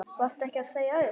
Varstu ekki að segja upp?